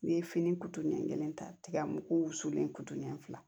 N'i ye fini kutu ɲɛ kelen ta tigɛ mugu wusulen kutuɲɛ fila